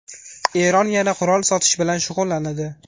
Eron yana qurol sotish bilan shug‘ullanadi.